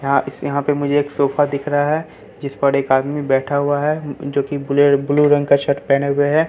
यहां इस यहां पे मुझे एक सोफा दिख रहा है जिस पर एक आदमी बैठा हुआ है जो कि ब्लू ब्लू रंग का शर्ट पहने हुए है।